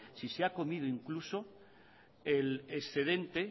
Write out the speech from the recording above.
si se ha comido incluso el excedente